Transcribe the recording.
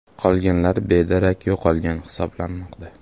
Qolganlar bedarak yo‘qolgan hisoblanmoqda.